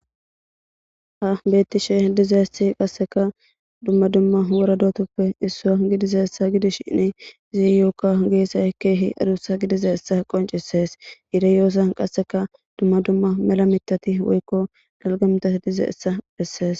Ha beetishe dizayssi qasekka dumma dumma wora do7atappe issuwa gidizayssa gidishini , izayokka geesay keehi adussa gididayssa qonccisees. I de7iyyossan qasseka dumma dumma mela miththati woykko melida miththati de7izayssa besees.